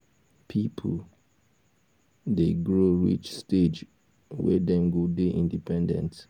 pipo dey grow reach stage wey dem go dey independent